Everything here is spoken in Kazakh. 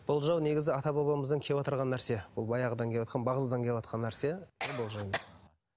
болжау негізі ата бабамыздан кеватырған нәрсе бұл баяғыдан кеватқан бағыздан кеватқан нәрсе